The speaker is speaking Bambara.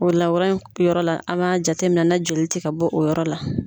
O lawura in yɔrɔ la, an b'a jateminɛ na joli tɛ ka bɔ o yɔrɔ la.